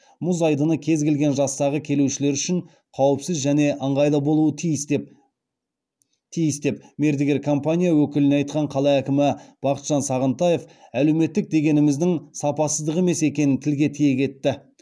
мұз айдыны кез келген жастағы келушілер үшін қауіпсіз және ыңғайлы болуы тиіс деп мердігер компания өкіліне айтқан қала әкімі бақытжан сағынтаев әлеуметтік дегеніміздің сапасыздық емес екенін тілге тиек етті